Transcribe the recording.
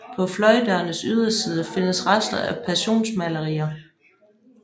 På fløjdørenes ydersider findes rester af passionsmalerier